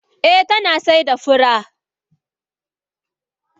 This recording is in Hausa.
Eh tana saida fura.